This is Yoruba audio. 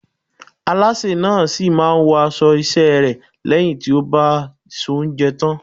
Alásè náà sì máa wọ aṣọ iṣẹ́ rẹ̀ lẹ́yìn tí ó bá soúnjẹ tán.